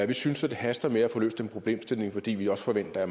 vi synes det haster med at få løst den problemstilling fordi vi også forventer